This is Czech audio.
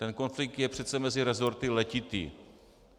Ten konflikt je přece mezi resorty letitý.